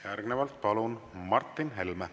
Järgnevalt palun siia Martin Helme.